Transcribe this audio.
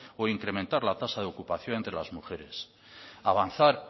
o implementar la tasa de ocupación de las mujeres avanzar